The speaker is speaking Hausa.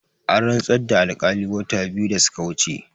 An rantsar da alkali wata biyu da suka wuce